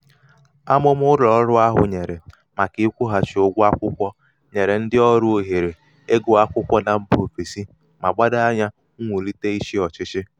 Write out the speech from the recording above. amụ̀mà ụlọ̀ọrụ ahụ̀ nwèrè màkà ịkwụ̄ghàchì ụgwọ akwụkwọ̀ nyèrè ndị ọrụ òhèrè ịgụ̄ akwụkwọ na mbà òfèsi mà gbado anyā mwulite ịchị̄ ọ̀chịchị